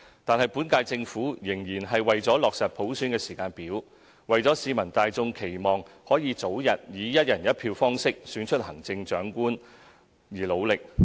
不過，本屆政府仍然為落實普選時間表，為市民大眾期望可以早日以"一人一票"方式選出行政長官而努力。